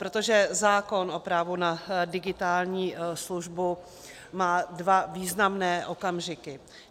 Protože zákon o právu na digitální službu má dva významné okamžiky.